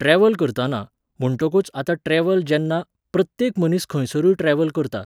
Travel करताना, म्हुण्टोकूच आतां ट्रॅव्हल जेन्ना, प्रत्येक मनीस खंयसरूय ट्रॅव्हल करता.